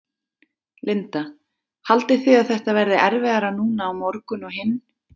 Linda: Haldið þið að þetta verði erfiðara núna á morgun og hinn?